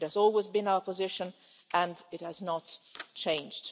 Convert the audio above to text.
It has always been our position and it has not changed.